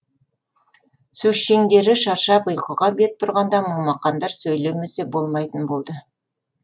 сөзшеңдері шаршап ұйқыға бет бұрғанда момақандар сөйлемесе болмайтын болды